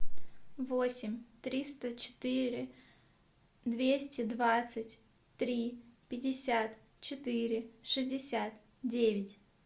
восемь триста четыре двести двадцать три пятьдесят четыре шестьдесят девять